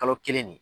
Kalo kelen de